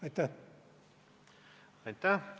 Aitäh!